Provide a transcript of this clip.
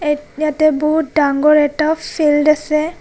এই ইয়াতে বহুত ডাঙৰ এটা ফিল্ড আছে.